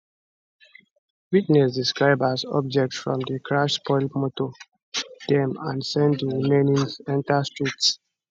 witness describe as objects from di crash spoil motor dem and send di remains enta streets